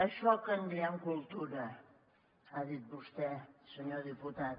això que en diem cultura ha dit vostè senyor diputat